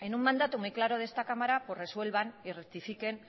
en un mandato muy claro de esta cámara pues resuelvan y rectifiquen